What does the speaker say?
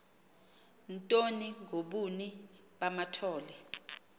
ntoni ngobuni bamathole